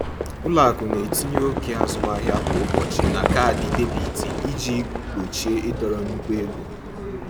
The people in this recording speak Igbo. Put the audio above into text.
Ụlọ akụ na-etinye oke azụmahịa kwa ụbọchị na kaadị debit iji gbochie ịdọrọ nnukwu ego.